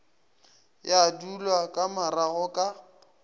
ya dulwa ka marago ka